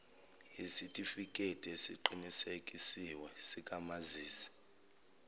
yesitifikedi esiqinisekisiwe sikamazisi